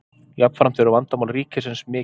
jafnframt eru vandamál ríkisins mikil